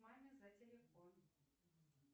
маме за телефон